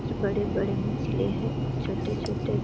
कुछ बड़े-बड़े मछली है कुछ छोटे-छोटे --